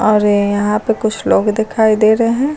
और यहां पे कुछ लोग दिखाई दे रहे हैं।